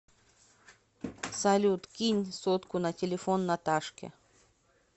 салют кинь сотку на телефон наташке